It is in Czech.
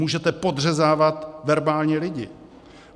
Můžete podřezávat verbálně lidi.